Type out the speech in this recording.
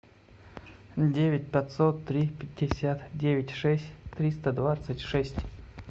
девять пятьсот три пятьдесят девять шесть триста двадцать шесть